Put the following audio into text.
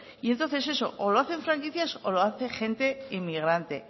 y entonces eso o lo hacen franquicias o lo hace gente inmigrante